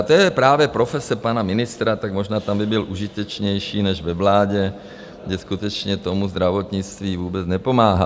A to je právě profese pana ministra, tak možná tam by byl užitečnější než ve vládě, kde skutečně tomu zdravotnictví vůbec nepomáhá.